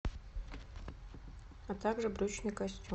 а также брючный костюм